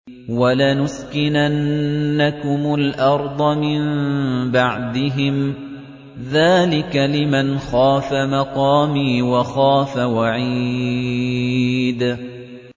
وَلَنُسْكِنَنَّكُمُ الْأَرْضَ مِن بَعْدِهِمْ ۚ ذَٰلِكَ لِمَنْ خَافَ مَقَامِي وَخَافَ وَعِيدِ